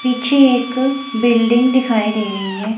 पीछे एक बिल्डिंग दिखाई दे रही है।